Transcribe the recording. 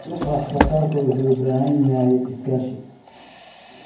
Suuqa wax-soo-saarku wuxuu u baahan yahay iskaashi.